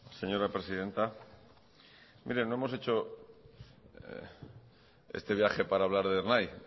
señora presidenta mire no hemos hecho este viaje para hablar de ernai